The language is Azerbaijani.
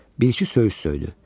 Bir-iki söyüş söydü.